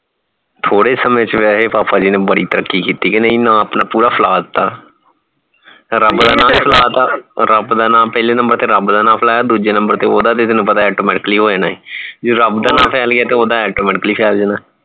ਥੋੜੇ समय ਚ ਵਸੇ ਪਾਪਾ ਜੀ ਨੇ ਬੜੀ ਤਰਕੀ ਕੀਤੀ ਕੇ ਨਹੀਂ ਆਪਣਾ ਪੂਰਾ ਫੈਲਾ ਦਿਤਾ ਰੱਬ ਦਾ ਨਾਂ ਭੀ ਫੈਲਾ ਤਾ ਰੱਬ ਦਾ ਨਾਂ ਪਹਿਲੇ number ਤੇ ਰੱਬ ਦਾ ਨਾਂ ਫੈਲਾਇਆ ਦੂਜੇ number ਤੇ ਓਹਦਾ ਜੀਦਾ ਪਤਾ ਹੋ ਜਾਣਾ ਹੈ ਜੇ ਰਬ ਦਾ ਫੇਲ ਗਿਆ ਤਾ ਓਹਦਾ automatically ਫੇਲ ਜਾਣਾ